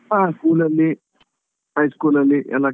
ಹಾ school ಅಲ್ಲಿ high school ಅಲ್ಲಿ ಎಲ್ಲಾ